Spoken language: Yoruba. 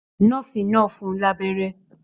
Nọ́ọ̀sì náà fún un lábẹ́rẹ́.